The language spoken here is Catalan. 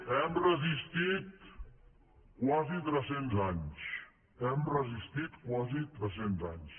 hem resistit quasi tres cents anys hem resistit quasi tres cents anys